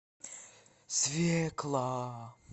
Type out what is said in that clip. свекла